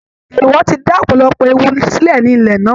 Èèwọ̀ ti dá ọ̀pọ̀lọpọ̀ ewu sílẹ̀ ní ilẹ̀ náà